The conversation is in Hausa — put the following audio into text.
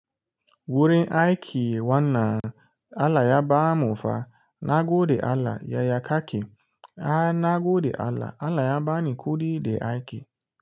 Wurin aiki wannan Allah ya ba mu fa, na gode Allah yaya kake, ana gode Allah, Allah ya ba ni kuɗi da aiki.